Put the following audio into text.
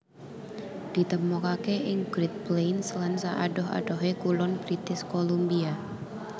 Ditemokaké ing Great Plains lan saadoh adohé kulon British Columbia